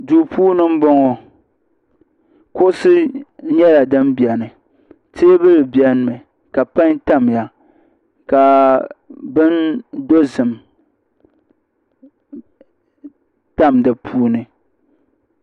duu puuni n bɔŋɔ kuɣusi nyɛla din biɛni teebuli biɛni mi ka pai tamya ka bini dozim tam di puuni